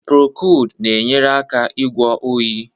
Prokold na-enyere aka ịgwọ oyi.